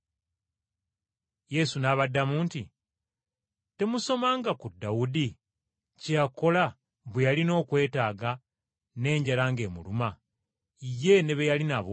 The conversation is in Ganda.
Yesu n’abaddamu nti, “Temusomanga ku Dawudi kye yakola bwe yalina okwetaaga n’enjala ng’emuluma, ye ne be yali nabo,